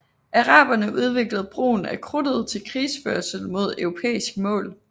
Araberne udviklede brugen af krudtet til krigsførelse mod europæiske mål